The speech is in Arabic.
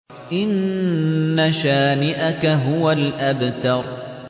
إِنَّ شَانِئَكَ هُوَ الْأَبْتَرُ